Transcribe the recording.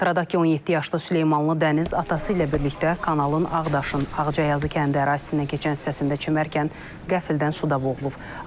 Xatırladaq ki, 17 yaşlı Süleymanlı Dəniz atası ilə birlikdə kanalın Ağdaşın Ağcayazı kəndi ərazisindən keçən hissəsində çimərkən qəflətən suda boğulub.